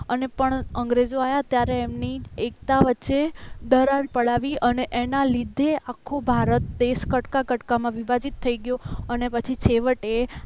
અને પણ અંગ્રેજો આવ્યા ત્યારે એમની એકતા વચ્ચે દરાર પડાવી અને એમના લીધે આખો ભારત દેશ કટકા કટકામાં વિભાજીત થઈ ગયો અને પછી છેવટે